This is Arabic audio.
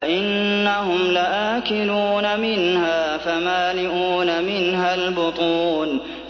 فَإِنَّهُمْ لَآكِلُونَ مِنْهَا فَمَالِئُونَ مِنْهَا الْبُطُونَ